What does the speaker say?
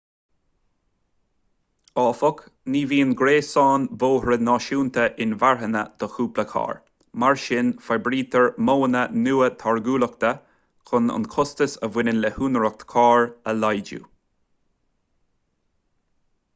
áfach ní bhíonn gréasáin bóithre náisiúnta inmharthana do cúpla carr mar sin forbraítear modhanna nua táirgiúlachta chun an costas a bhaineann le húinéireacht cairr a laghdú